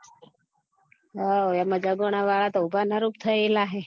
હવ એમાં તો જગણા વાળા તો ઉભા ના રૂપ થયે લા હી